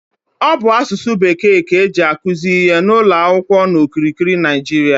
Ọ bụ asụsụ bekee ka eji akuzi ihe n'ụlọ akwụkwọ n'okirikiri Naịjiria